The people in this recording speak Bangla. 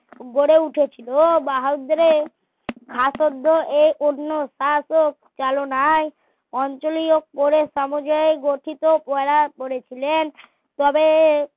গড়ে উঠেছিল বাহদ্রে শাসকদের এই অন্য শাসক চালনায় অঞ্চলীয় করে সমাজের গঠিত করা করেছিলেন তবে